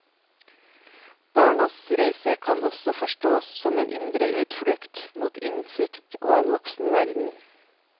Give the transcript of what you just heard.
Barnas reise kan også forstås som en indre utflukt, mot innsikt og en voksen verden.